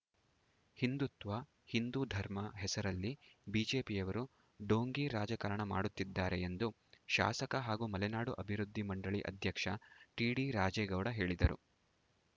ಹಿಂದುತ್ವ ಹಿಂದೂ ಧರ್ಮ ಹೆಸರಲ್ಲಿ ಬಿಜೆಪಿಯವರು ಡೋಂಗಿ ರಾಜಕಾರಣ ಮಾಡುತ್ತಿದ್ದಾರೆ ಎಂದು ಶಾಸಕ ಹಾಗೂ ಮಲೆನಾಡು ಅಭಿವೃದ್ಧಿ ಮಂಡಳಿ ಅಧ್ಯಕ್ಷ ಟಿಡಿ ರಾಜೇಗೌಡ ಹೇಳಿದರು